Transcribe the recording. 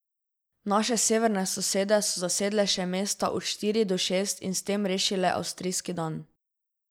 Naše severne sosede so zasedle še mesta od štiri do šest in s tem rešile avstrijski dan.